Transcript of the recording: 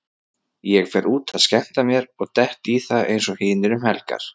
Ég fer út að skemmta mér og dett í það eins og hinir um helgar.